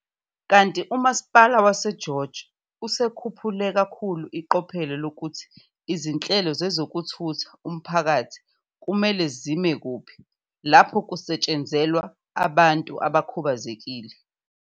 Kanti uMasipala waseGeorge usukhuphule kakhulu iqophelo lokuthi izinhlelo zezokuthutha umphakathi kumele zime kuphi lapho kusetshenzelwa abantu abakhubazekile.